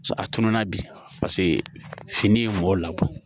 A tununna bi paseke fini ye mɔgɔw labɔ